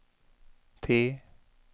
T